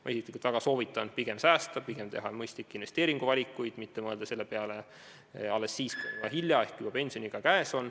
Ma isiklikult väga soovitan pigem säästa, pigem teha mõistlikke investeeringuvalikuid, mitte mõelda selle peale alles siis, kui on juba hilja ehk pensioniiga käes.